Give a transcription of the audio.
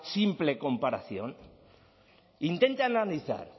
simple comparación intente analizar